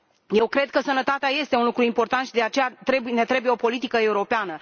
Eu cred că sănătatea este un lucru important și, de aceea, ne trebuie o politică europeană.